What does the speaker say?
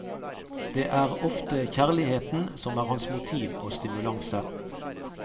Det er ofte kjærligheten som er hans motiv og stimulanse.